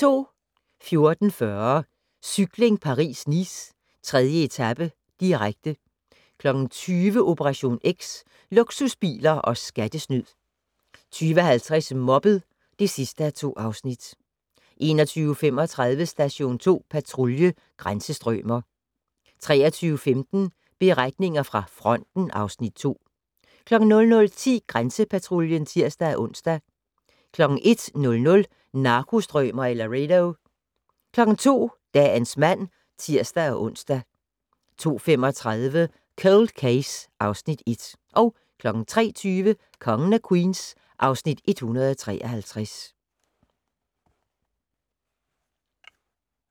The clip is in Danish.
14:40: Cykling: Paris-Nice - 3. etape, direkte 20:00: Operation X: Luksusbiler og skattesnyd 20:50: Mobbet (2:2) 21:35: Station 2 Patrulje: Grænsestrømer 23:15: Beretninger fra fronten (Afs. 2) 00:10: Grænsepatruljen (tir-ons) 01:00: Narkostrømer i Laredo 02:00: Dagens mand (tir-ons) 02:35: Cold Case (Afs. 1) 03:20: Kongen af Queens (Afs. 153)